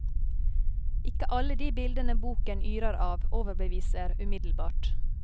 Ikke alle de bildene boken yrer av, overbeviser umiddelbart.